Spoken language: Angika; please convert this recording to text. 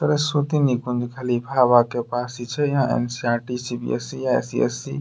सरसवती निकुंज खली भावा के पास ही छे। यहाँ एन.सी.इ.आर.टी. सी.बी.एस.इ. आई.सी.एस.सी. --